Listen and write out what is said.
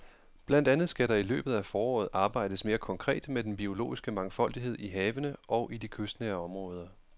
Blandt andet skal der i løbet af foråret arbejdes mere konkret med den biologiske mangfoldighed i havene og i de kystnære områder.